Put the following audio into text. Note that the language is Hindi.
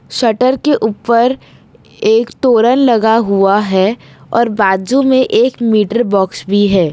शटर के ऊपर एक तोरण लगा हुआ है और बाजू में एक मीटर बॉक्स भी है।